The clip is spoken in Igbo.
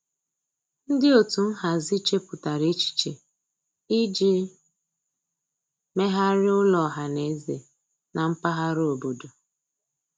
Ndị otu nhazi chepụtara echiche iji megharịa ụlọ ọhaneze na mpaghara obodo.